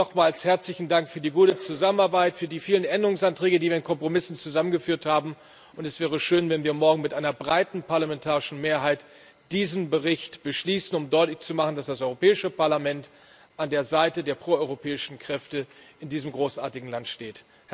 Nochmals herzlichen Dank für die gute Zusammenarbeit, für die vielen Änderungsanträge, die wir in Kompromissen zusammengeführt haben. Es wäre schön, wenn wir morgen mit einer breiten parlamentarischen Mehrheit diesen Bericht beschließen, um deutlich zu machen, dass das Europäische Parlament an der Seite der proeuropäischen Kräfte in diesem großartigen Land steht.